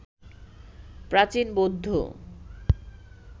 প্রাচীন বৌদ্ধ